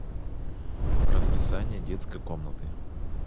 расписание детской комнаты